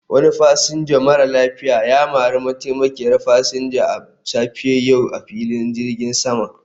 Wani fasinja mara lafiya ya mari mataimakiyar fasinja a safiyar yau a filin jirgin sama